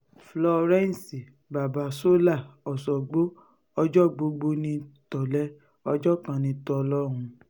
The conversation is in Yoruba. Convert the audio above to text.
florence babasola ọ̀ṣọ́gbó ọjọ́ gbogbo ní tò̩lé̩ ọjọ́ kan ní tò̩ló̩hún